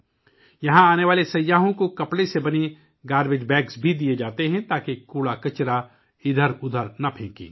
یہاں آنے والے سیاحوں کو کپڑے سے بنے کچرے کے تھیلے بھی دیئے جاتے ہیں تاکہ کچرا ادھر ادھر نہ پھینکا جائے